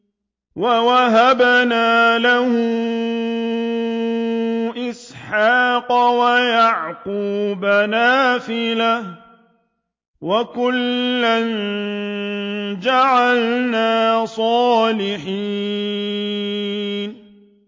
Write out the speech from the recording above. وَوَهَبْنَا لَهُ إِسْحَاقَ وَيَعْقُوبَ نَافِلَةً ۖ وَكُلًّا جَعَلْنَا صَالِحِينَ